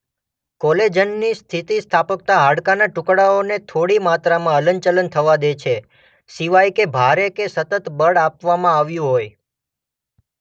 કોલેજનની સ્થિતિસ્થાપકતા હાડકાના ટુકડાઓને થોડી માત્રામાં હલન ચલન થવા દે છે સિવાય કે ભારે કે સતત બળ આપવામાં આવ્યું હોય.